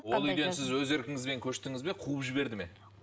ол үйден сіз өз еркіңізбен көшітіңіз бе қуып жіберді ме